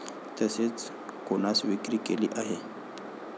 तसेच कोणास विक्री केली आहे?